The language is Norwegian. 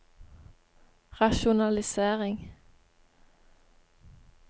rasjonalisering